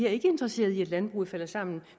er interesserede i at landbruget falder sammen